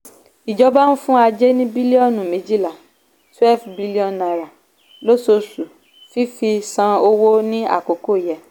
ìjọba ń fún ajé ní bílíọ̀nù méjìlá twelve billion naira lóṣooṣù fífi san owó ní àkókò yẹ.